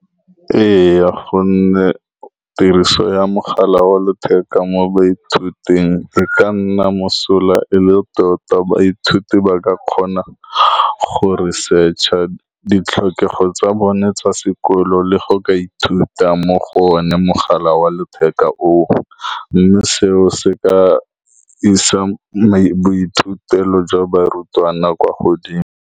Ee, ka gonne tiriso ya mogala wa letheka mo baithuting e ka nna mosola e le tota. Baithuti ba ka kgona go research ditlhokego tsa bone tsa sekolo le go ka ithuta mo go one mogala wa letheka oo, mme seo se ka isa boithutelo jwa barutwana kwa godimo.